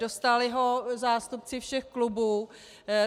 Dostali ho zástupci všech klubů.